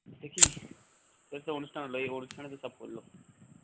দেখিনি তোর তো অনুষ্ঠান হল এই অনুষ্ঠানে তো সব করল